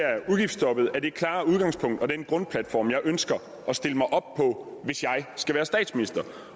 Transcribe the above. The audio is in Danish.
nej det klare udgangspunkt og den grundplatform jeg ønsker at stille mig op på hvis jeg skal være statsminister